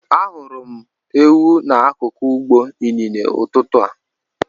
Ahụrụ m ewu n'akụkụ ugbo inine n'ụtụtụ a.